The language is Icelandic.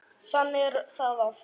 Þannig er það oft.